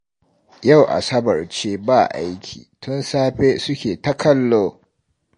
Yau Asabar ce ba aiki, tun safe suke ta kallo